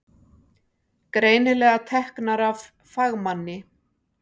Greinilega teknar af fagmanni.